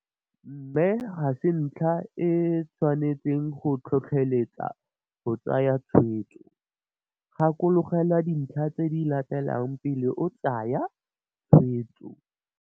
Mme, ga se ntlha e, e e tshwanetseng go go tlhotlheletsa go tsaya tshwetso. Gakologelwa dintlha tse di latelang pele o tsaya tshwetso.